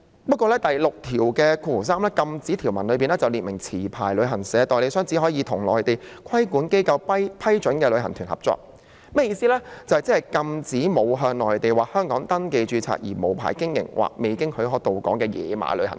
不過，第63條"禁止條文"下卻訂明持牌旅行代理商只可與內地規管機構批准下的旅行代理商合作，即是禁止沒有向內地或香港登記註冊而無牌經營或未經許可到港的"野馬"旅行團。